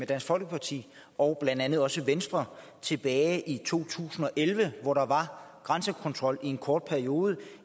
dansk folkeparti og blandt andet også venstre tilbage i to tusind og elleve hvor der var grænsekontrol i en kort periode